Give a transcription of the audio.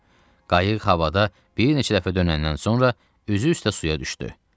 Qayıq havada bir neçə dəfə dönəndən sonra üzü üstə suya düşdü.